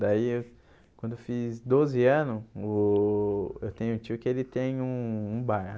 Daí, eu quando eu fiz doze ano, o eu tenho tio que ele tem um um bar.